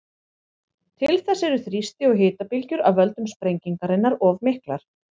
Til þess eru þrýsti- og hitabylgjur af völdum sprengingarinnar of miklar.